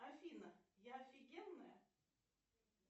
афина я офигенная